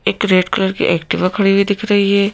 एक red colour की Activa खड़ी हुई दिख रही है।